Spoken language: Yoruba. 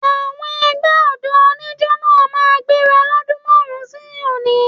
Àwọn ẹgbẹ́ ọ̀dọ́ oníjo náà máa gbéra lọ́dún márùn-ún sí òní